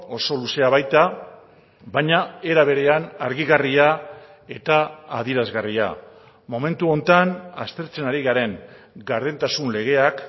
oso luzea baita baina era berean argigarria eta adierazgarria momentu honetan aztertzen ari garen gardentasun legeak